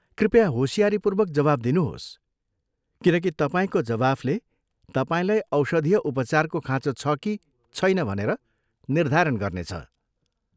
कृपया होसियारीपूर्वक जवाफ दिनुहोस्, किनकि तपाईँको जवाफले तपाईँलाई औषधीय उपचारको खाँचो छ कि छैन भनेर निर्धारण गर्नेछ।